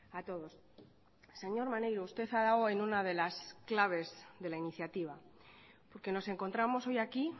a todos señor maneiro usted ha dado en una de las claves de la iniciativa porque nos encontramos hoy aquí